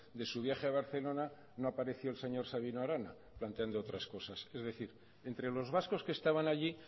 de su viaje a barcelona no apareció el señor sabino arana planteando otras cosas es decir entre los vascos que estaban allí